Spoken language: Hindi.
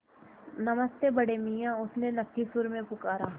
नमस्ते बड़े मियाँ उसने नक्की सुर में पुकारा